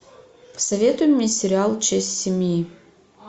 посоветуй мне сериал честь семьи